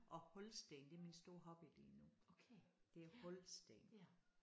Og hulsten det min store hobby lige nu. Det er hulsten